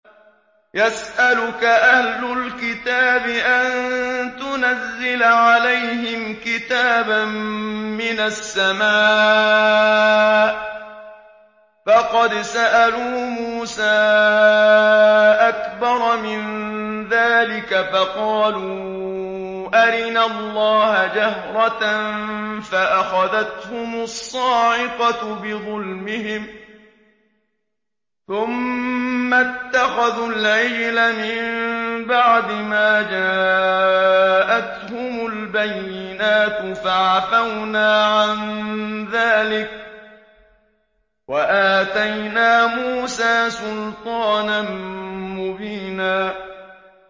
يَسْأَلُكَ أَهْلُ الْكِتَابِ أَن تُنَزِّلَ عَلَيْهِمْ كِتَابًا مِّنَ السَّمَاءِ ۚ فَقَدْ سَأَلُوا مُوسَىٰ أَكْبَرَ مِن ذَٰلِكَ فَقَالُوا أَرِنَا اللَّهَ جَهْرَةً فَأَخَذَتْهُمُ الصَّاعِقَةُ بِظُلْمِهِمْ ۚ ثُمَّ اتَّخَذُوا الْعِجْلَ مِن بَعْدِ مَا جَاءَتْهُمُ الْبَيِّنَاتُ فَعَفَوْنَا عَن ذَٰلِكَ ۚ وَآتَيْنَا مُوسَىٰ سُلْطَانًا مُّبِينًا